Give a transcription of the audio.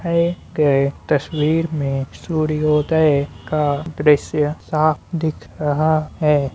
गए तस्वीर में सूर्योदय का दृश्य साफ दिख रहा है।